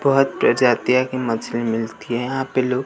बहोत प्रजातियां की मछली मिलती हैं यहां पे लो--